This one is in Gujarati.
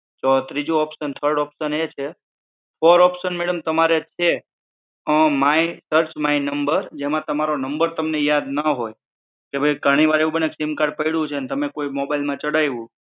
તો ત્રીજું ઓપ્શન થડ ઓપ્શન એછે ફોર ઓપ્શન મેડમ તમારે છે માય સૅર્ચ માય નંબર જેમાં તમારો નંબર તમને યાદ ના હોય કે ભઈ ઘણી વાર એવું બને છે સીમકાર્ડ પડ્યું છે તમે કોઈ મોબાઈલ માં ચડાયું